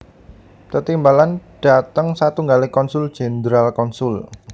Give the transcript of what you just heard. Tetimbalan dhateng satunggaling konsul jenderal konsul